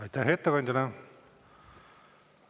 Aitäh ettekandjale!